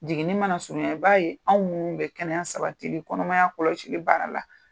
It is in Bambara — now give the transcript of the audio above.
Jiginni mana surunyan i b'a ye anw minnu bɛ kɛnɛya sabatili kɔnɔmaya kɔlɔsili baara la